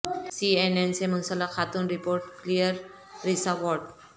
سی N N سے منسلک خاتون رپورٹر کلیریسا وارڈ